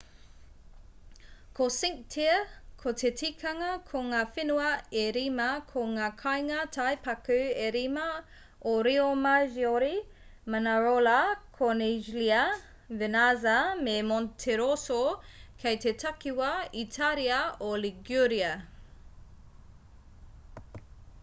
ko cinque terre ko te tikanga ko ngā whenua e rima ko ngā kāinga tai paku e rima o riomaggiore manarola corniglia vernazza me monterosso kei te takiwā itāria o liguria